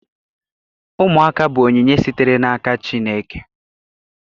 Ụmụaka bụ onyinye sitere n'aka Chineke.